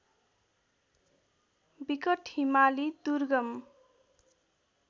विकट हिमाली दुर्गम